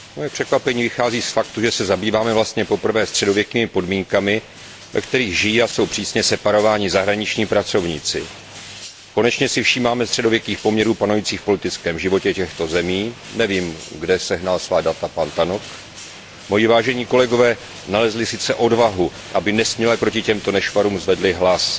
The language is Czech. Moje překvapení vychází z faktu, že se zabýváme vlastně poprvé středověkými podmínkami, ve kterých žijí a jsou přísně separováni zahraniční pracovníci. Konečně si všímáme středověkých poměrů panujících v politickém životě těchto zemí nevím kde pan Tannock sehnal svá data. Moji vážení kolegové nalezli odvahu, aby nesměle proti těmto nešvarům zvedli hlas.